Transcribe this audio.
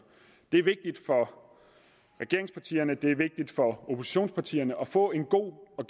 det er vigtigt for regeringspartierne og for oppositionspartierne at få en god og